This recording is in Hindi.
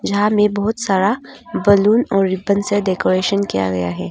यहां में बहुत सारा बैलून और रिबन से डेकोरेशन किया गया है।